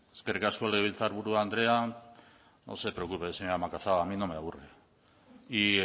eskerrik asko legebiltzarburu andrea no se preocupe señora macazaga a mí no me aburre y